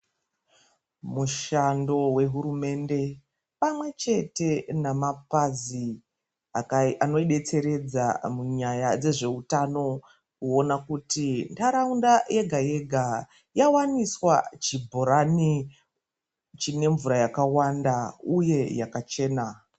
Mushando wehurumende pamwe chete namakwazi anobetseredza munyaya dzezveutano kuona kuti ndaraunda yega yega yawaniswa chibhorani chine mvura yakawanda uye yakachena.